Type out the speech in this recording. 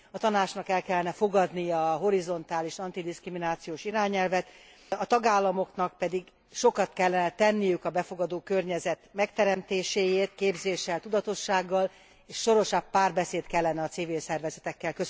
A Tanácsnak el kellene fogadnia a horizontális antidiszkriminációs irányelvet, a tagállamoknak pedig sokat kellene tenniük a befogadó környezet megteremtéséért képzéssel, tudatossággal, és szorosabb párbeszéd kellene a civil szervezetekkel.